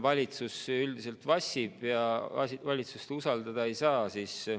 Valitsus üldiselt vassib ja valitsust usaldada ei saa.